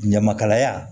Ɲamakalaya